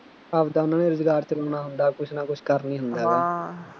ਆਪਦਾ ਉਹਨਾ ਨੇ ਰੁਜ਼ਗਾਰ ਚਲਾਉਣਾ ਹੁੰਦਾ, ਕੁੱਛ ਨਾ ਕੁੱਛ ਕਰਨਾ ਹੀ ਹੁੰਦਾ ਹੈਗਾ